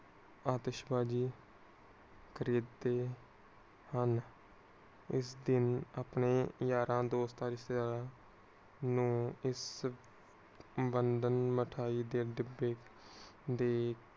ਆਤਿਸ਼ਵਾਜੀ ਖਰੀਦਦੇ ਹਨ. ਇਸ ਦਿਨ ਆਪਣੇ ਯਾਰਾਂ ਦੋਸਤਾਂ ਨੂੰ ਬੰਦ ਮਿਠਾਇ ਦੇ ਡੱਬੇ